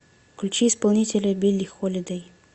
включи исполнителя билли холидэй